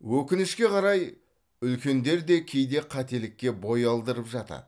өкінішке қарай үлкендер де кейде қателікке бой алдырып жатады